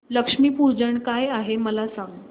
लक्ष्मी पूजन काय आहे मला सांग